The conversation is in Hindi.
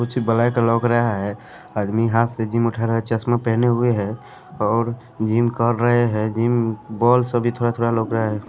कुछ ब्लैक लौक रहा है आदमी हाथ से जिम उठा रहा है चश्मा पहने हुए हैं और जिम कर रहे हैं जिम बॉल सभी थोड़ा-थोड़ा लौक रहा है।